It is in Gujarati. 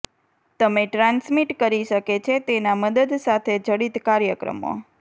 તમે ટ્રાંસમિટ કરી શકે છે તેના મદદ સાથે જડિત કાર્યક્રમો